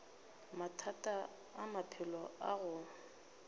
mathata a maphelo a go